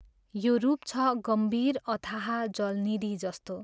यो रूप छ गम्भीर अथाह जलनिधि जस्तो।